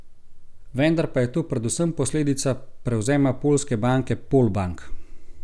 Vendar pa je to predvsem posledica prevzema poljske banke Polbank.